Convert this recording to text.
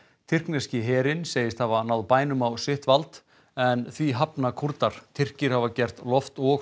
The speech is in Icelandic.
tyrkneski herinn segist hafa náð bænum á sitt vald en því hafna Kúrdar Tyrkir hafa gert loft og